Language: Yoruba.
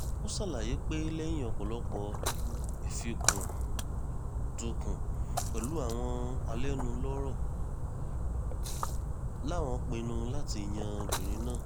ó ṣàlàyé pé lẹ́yìn ọ̀pọ̀lọpọ̀ ìfúkúndùnkùn pẹ̀lú àwọn alẹ́nulọ́rọ̀ làwọn pinnu láti yan obìnrin náà